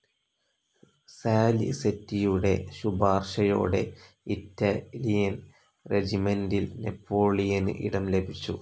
സാലിസെറ്റിയുടെ ശുപാർശയോടെ ഇറ്റലിയൻ റെജിമെന്റിൽ നെപോളിയന് ഇടം ലഭിച്ചു.